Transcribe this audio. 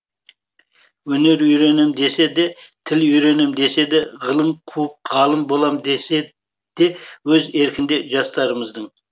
өнер үйренем десе де тіл үйренем десе де ғылым қуып ғалым боам десе де өз еркінде жастарымыздың